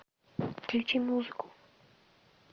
включи музыку